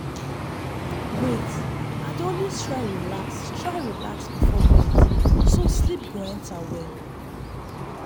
wait- i dey always try relax try relax before bed so sleep go enter well.